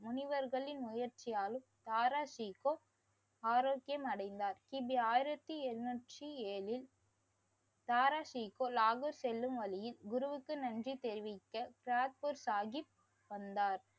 முனிவர்களின் முயற்சியாலும் தாரா சிக்கோ ஆரோக்கியம் அடைந்தார். கி. பி. ஆயிரத்தி எண்ணூற்றி ஏழில் தாரா சிக்கோ நாகூர் செல்லும் வழியில் குருவுக்கு நன்றி தெரிவிக்க கீரத்பூர் சாஹீப் வந்தார்.